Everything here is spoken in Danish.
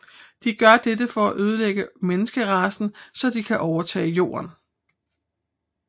De gør dette for at ødelægger menneskeracen så de kan overtage jorden